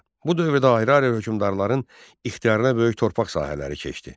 Bu dövrdə ayrı-ayrı hökmdarların ixtiyarına böyük torpaq sahələri keçdi.